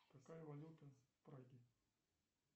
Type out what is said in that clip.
какая валюта в праге